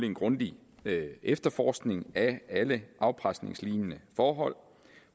en grundig efterforskning af alle afpresningslignende forhold